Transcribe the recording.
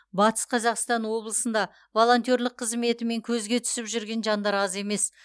батыс қазақстан облысында волонтерлік қызметімен көзге түсіп жүрген жандар аз емес